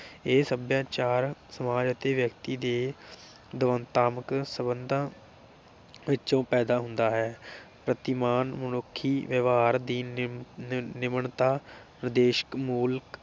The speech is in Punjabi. ਇਹ ਸਭਿਆਚਾਰ ਸਮਾਜ ਅਤੇ ਵਿਅਕਤੀ ਦੇ ਦਵੰਦਾਤਮਿਕ ਸੰਬੰਧਾਂ ਵਿਚੋਂ ਪੈਦਾ ਹੁੰਦਾ ਹੈ । ਪ੍ਰਤੀਮਾਨ ਮਨੁੱਖੀ ਵਿਵਹਾਰ ਦੀ ਨੀ ਨਿਮਣਤਾ ਵਿਦੇਸ਼ਕ ਮੂਲ